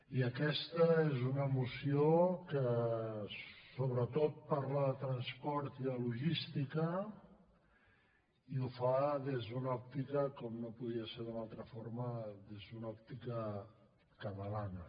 i aquesta és una moció que sobretot parla de transport i de logística i ho fa des d’una òptica com no podia ser d’una altra forma catalana